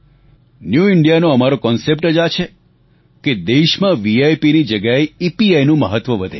new India નો અમારો concept જ આ છે કે દેશમાં વિપ ની જગ્યાએ ઇપીઆઇ નું મહત્વ વધે